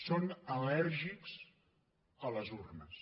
són al·lèrgics a les urnes